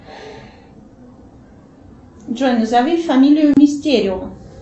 джой назови фамилию мистерио